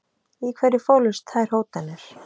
Í hverju fólust þær hótanir?